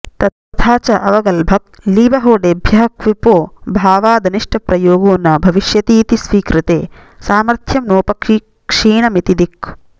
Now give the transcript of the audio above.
तथा च अवगल्भक्लीबहोडेभ्यः क्विपोऽभावादनिष्टप्रयोगो न भविष्यतीति स्वीकृते सामथ्र्यं नोपक्षीणमिति दिक्